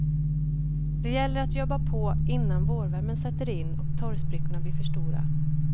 Det gäller att jobba på innan vårvärmen sätter in och torrsprickorna blir för stora.